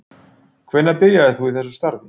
Hvenær byrjaðir þú í þessu starfi?